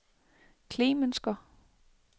Klemensker